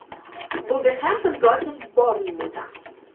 вулверхэмптон против борнмута